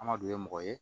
An ma don ye mɔgɔ ye